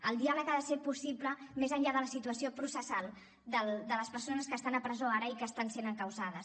el diàleg ha de ser possible més enllà de la situació processal de les persones que estan a presó ara i que estan sent encausades